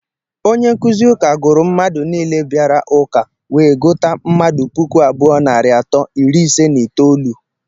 Onye nkụzi ụka gụrụ mmadụ nile bịara ụka, wee guta mmadụ pụkụ abụọ narị atọ iri ise nà itoolu.